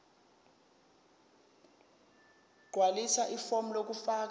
gqwalisa ifomu lokufaka